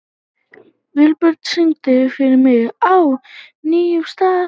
Vilbjörn, syngdu fyrir mig „Á nýjum stað“.